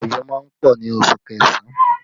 Òjò má ń pọ̀ ní oṣù kẹsàn-án